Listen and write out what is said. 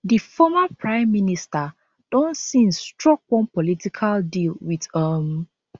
di former prime minister don since struck one political deal wit um